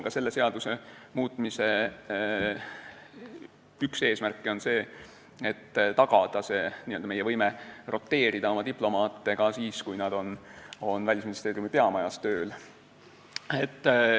Ka selle seaduse muutmise üks eesmärke on tagada meie võime roteerida oma diplomaate ka siis, kui nad on Välisministeeriumi peamajas tööl.